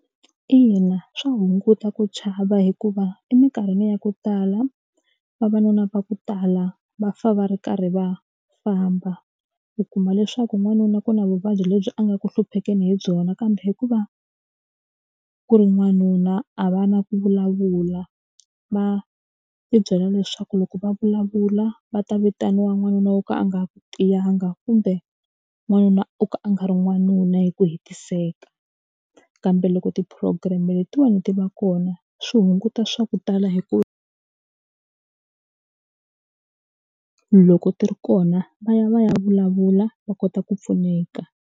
Ina swa hunguta ku chava hikuva eminkarhini ya ku tala vavanuna va ku tala va fa va ri karhi va famba u kuma leswaku n'wanuna ku na vuvabyi lebyi a nga ku hluphekini hi byona kambe hikuva ku ri n'wanuna a va na ku vulavula va tibyela leswaku loko va vulavula va ta vitaniwa n'wanuna wo ka a nga tiyanga kumbe n'wanuna wo ka a nga ri n'wanuna hi ku hetiseka kambe loko ti-program letiwani ti va kona swi hunguta swa ku tala hi ku loko ti ri kona va ya va ya vulavula va kota ku pfuneka.